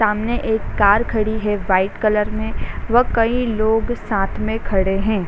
सामने एक कार खड़ी है वाइट कलर में | व कई लोग साथ में खड़े हैं |